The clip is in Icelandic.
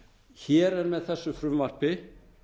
hér er með þessu frumvarpi